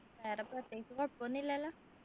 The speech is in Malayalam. വേറെ പ്രത്യേകിച്ച് കുഴപ്പൊന്നും ഇല്ലല്ലോ